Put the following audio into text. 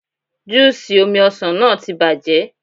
Júù ṣì omi ọsàn náà ti bàjẹ́.